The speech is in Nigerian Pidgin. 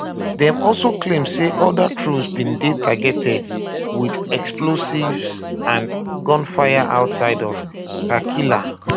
dem also claim say oda troops bin dey targeted wit explosives and um gunfire outside of kar kila